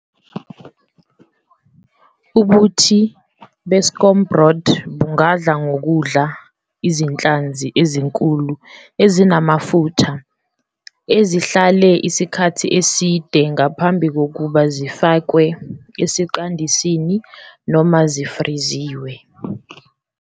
Ubuthi beScombroid bungadla ngokudla izinhlanzi ezinkulu ezinamafutha ezihlale isikhathi eside ngaphambi kokuba zifakwe esiqandisini noma zifriziwe.